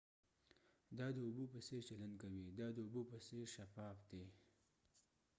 دا د اوبو په څیر چلند کوي دا د اوبو په څیر شفاف دی